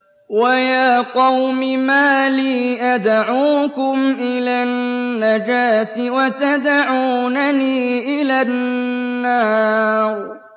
۞ وَيَا قَوْمِ مَا لِي أَدْعُوكُمْ إِلَى النَّجَاةِ وَتَدْعُونَنِي إِلَى النَّارِ